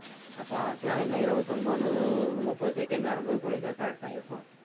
அஹ் பாக்கலாம் இன்னும் இருபத்தி ஒன்பது முப்பது second வரும்போது குடுத்தா correct ஆ இருக்கும்